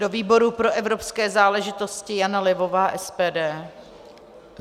Do výboru pro evropské záležitosti Jana Levová, SPD.